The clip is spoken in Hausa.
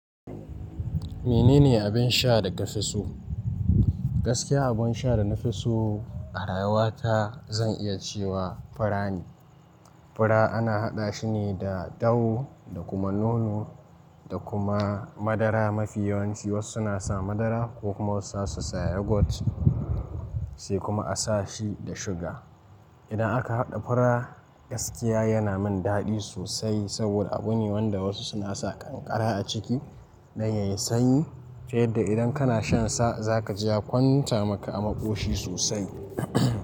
Menene abin sha da ka fi so? Gaskiya, abun sha da na fi so a rayuwa ta zan iya cewa fura ne. Fura ana haɗa shi ne da dawo da kuma nono da kuma madara mafi yawanci. Wasu na sa madara ko kuma wasu za su sa yogurt, sai kuma a sa shi da suga. Idan aka haɗa fura, gaskiya yana min daɗi sosai saboda abu ne wanda wasu suna sa ƙanƙara a ciki dan yayi sanyi, ta yadda idan kana shansa za ka ji ya kwanta maka a maƙoshi sosai.